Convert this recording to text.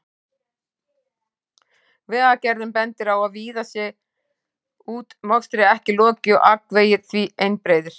Vegagerðin bendir á að víða sé útmokstri ekki lokið og akvegir því einbreiðir.